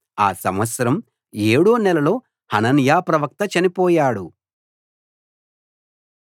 ఆ సంవత్సరం ఏడో నెలలో హనన్యా ప్రవక్త చనిపోయాడు